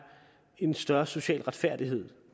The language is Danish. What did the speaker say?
en større social retfærdighed